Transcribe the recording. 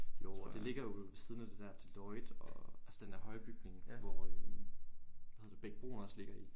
Det ligger jo ved siden af det der Deloitte og altså dender høje bygning hvor øh hvad hedder det Bech Bruun også ligger i